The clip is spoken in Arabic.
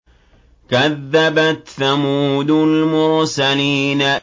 كَذَّبَتْ ثَمُودُ الْمُرْسَلِينَ